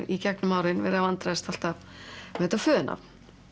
í gegnum árin verið að vandræðast alltaf með þetta föðurnafn